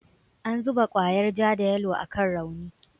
An zuba kwayar ja da yalo akan rauni.